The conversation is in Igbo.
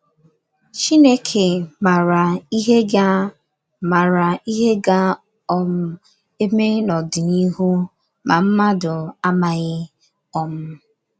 Chineke mara ihe ga mara ihe ga um - eme n’ọdịnihu, ma mmadụ amaghị. um